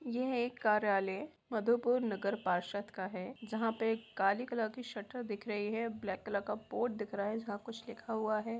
यह एक कार्यालय मधुपुर नगर पार्षद का है जहाँ पे काली कलर की शटर दिख रही है ब्लैक कलर का बोर्ड दिख रहा है जहाँ कुछ लिखा हुआ है।